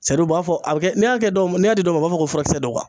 Sadia u b'a fɔ a bi kɛ n'e y'a kɛ n'e y'a di dɔw ma u b'a fɔ ko furakisɛ dɔ kuwa